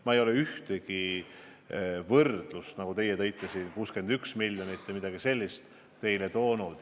Ma ei ole toonud ühtegi võrdlust, nagu teie siin tõite, ma ei ole nimetanud 61 miljonit või midagi sellist.